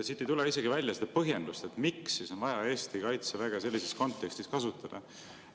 Siit ei tule isegi välja seda põhjendust, miks on vaja Eesti kaitseväge sellises kontekstis kasutada.